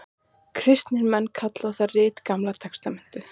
Kristnir menn kalla það rit Gamla testamentið.